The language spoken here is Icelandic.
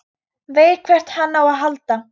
Veit hvert hann á að halda.